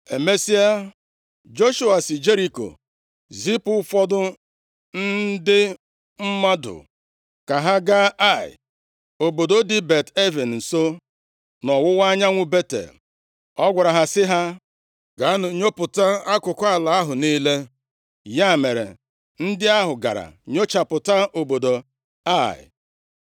Emesịa, Joshua si Jeriko zipụ ụfọdụ ndị mmadụ ka ha gaa Ai, obodo dị Bet-Aven nso, nʼọwụwa anyanwụ Betel. Ọ gwara ha sị ha, “Gaanụ nnyopụta akụkụ ala ahụ niile.” Ya mere, ndị ahụ gara nnyochapụta obodo Ai.